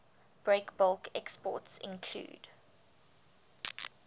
breakbulk exports include